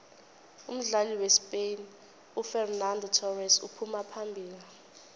umdlali wespain ufexenando thorese uphuma phambili